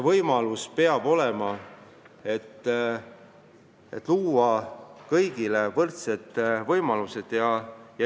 Kõigil peavad olema võrdsed võimalused.